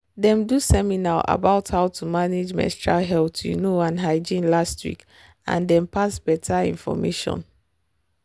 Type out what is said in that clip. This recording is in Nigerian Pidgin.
them do seminar about how to manage menstrual health you know and hygiene last week and them pass better information